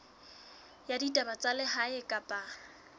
ya ditaba tsa lehae kapa